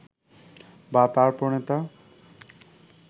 বা তার প্রণেতা